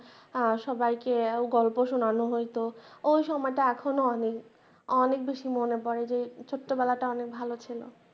সবাইকে গল্প শোনানো হইত ঐ সময়টা এখনো অনেক অনেক বেশি মনে পড়ে যে ছোট্ট বেলাটা অনেক ভালো ছিল।